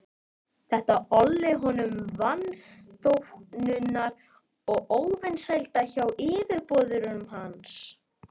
Þetta olli honum vanþóknunar og óvinsælda hjá yfirboðurum hans.